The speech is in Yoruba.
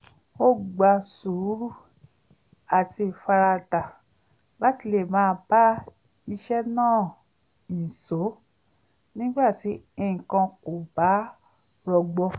ó gba sùúrù àti ìfaradà láti lè máa bá iṣẹ́ náà nìṣó nígbà tí nǹkan kò bá rọgbọ